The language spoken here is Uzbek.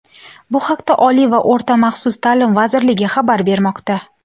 Bu haqda Oliy va o‘rta maxsus ta’lim vazirligi xabar bermoqda.